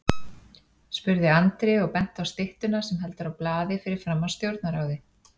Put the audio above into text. spurði Andri og benti á styttuna sem heldur á blaði fyrir framan Stjórnarráðið.